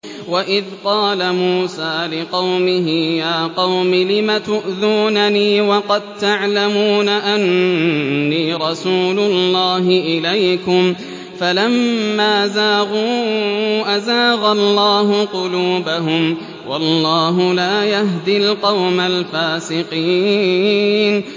وَإِذْ قَالَ مُوسَىٰ لِقَوْمِهِ يَا قَوْمِ لِمَ تُؤْذُونَنِي وَقَد تَّعْلَمُونَ أَنِّي رَسُولُ اللَّهِ إِلَيْكُمْ ۖ فَلَمَّا زَاغُوا أَزَاغَ اللَّهُ قُلُوبَهُمْ ۚ وَاللَّهُ لَا يَهْدِي الْقَوْمَ الْفَاسِقِينَ